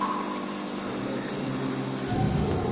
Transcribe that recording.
подарки на новый год